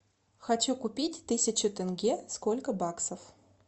хочу купить тысячу тенге сколько баксов